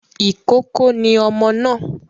Ìkókó ni ọmọ náà